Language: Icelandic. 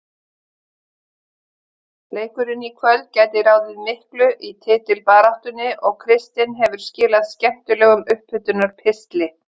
Leikurinn í kvöld gæti ráðið miklu í titilbaráttunni og Kristinn hefur skilað skemmtilegum upphitunar pistli.